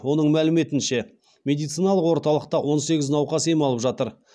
оның мәліметінше медициналық орталықта он сегіз науқас ем алып жатыр